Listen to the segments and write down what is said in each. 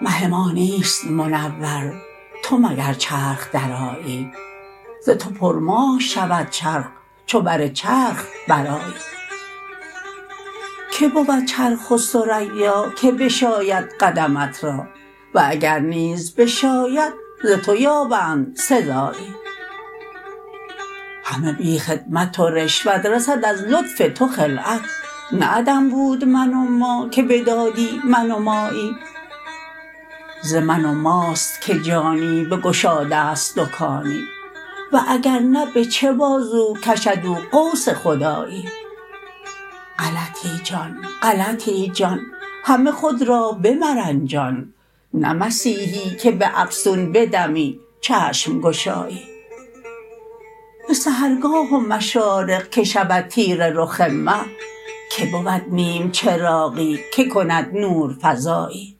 مه ما نیست منور تو مگر چرخ درآیی ز تو پرماه شود چرخ چو بر چرخ برآیی کی بود چرخ و ثریا که بشاید قدمت را و اگر نیز بشاید ز تو یابند سزایی همه بی خدمت و رشوت رسد از لطف تو خلعت نه عدم بود من و ما که بدادی من و مایی ز من و ماست که جانی بگشاده ست دکانی و اگر نه به چه بازو کشد او قوس خدایی غلطی جان غلطی جان همه خود را بمرنجان نه مسیحی که به افسون به دمی چشم گشایی به سحرگاه و مشارق که شود تیره رخ مه کی بود نیم چراغی که کند نورفزایی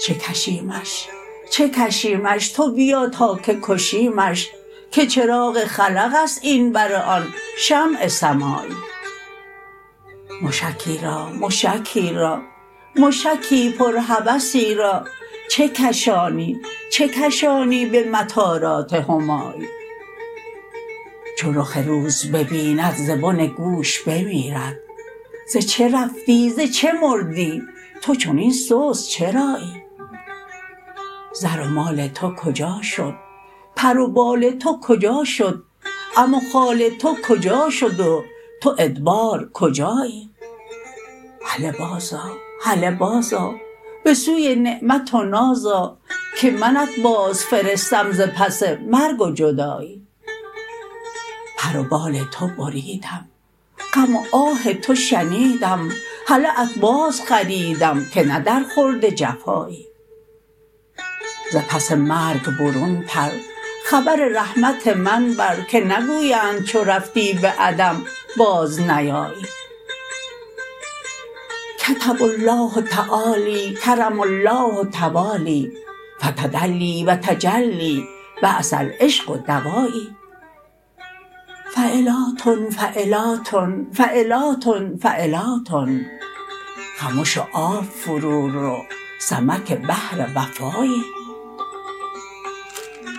چه کشیمش چه کشیمش تو بیا تا که کشیمش که چراغ خلق است این بر آن شمع سمایی مشکی را مشکی را مشکی پرهوسی را چه کشانی چه کشانی به مطارات همایی چو رخ روز ببیند ز بن گوش بمیرد ز چه رفتی ز چه مردی تو چنین سست چرایی زر و مال تو کجا شد پر و بال تو کجا شد عم و خال تو کجا شد و تو ادبار کجایی هله بازآ هله بازآ به سوی نعمت و ناز آ که منت بازفرستم ز پس مرگ و جدایی پر و بال تو بریدم غم و آه تو شنیدم هله بازت بخریدم که نه درخورد جفایی ز پس مرگ برون پر خبر رحمت من بر که نگویند چو رفتی به عدم بازنیایی کتب الله تعالی کرم الله توالی فتدلی و تجلی بعث العشق دوایی فعلاتن فعلاتن فعلاتن فعلاتن خمش و آب فرورو سمک بحر وفایی